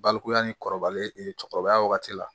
Balikuya ni kɔrɔbalen cɛkɔrɔbaya wagati la